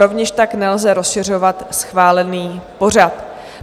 Rovněž tak nelze rozšiřovat schválený pořad.